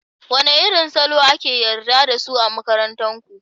Wane irin salo ake yarda da su a makarantar ku?